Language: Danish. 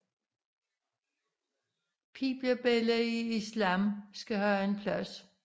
Pigebørn i islam skal have en plads